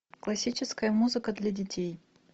классическая музыка для детей